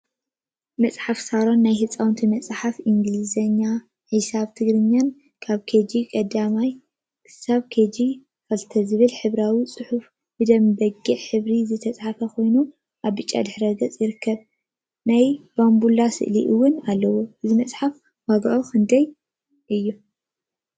መፅሓፍቲ ሳሮን ናይ ህፃናት መፅሓፍ እንግሊዝኛ፣ ሒሳብን ትግርኛን ካብ ኬጅ 1 ክሳብ ኬጅ 2ዝብል ሕብራዊ ፅሑፍ ብደም በጊዕ ሕብሪ ዝተፃሕፈ ኮይኑ አብ ብጫ ድሕረ ገፅ ይርከቡ፡፡ ናይ ባምቡላታት ስእሊ እውን አለዎ፡፡ እዛ መፅሓፍ ዋግአ ክንደይ እዩ?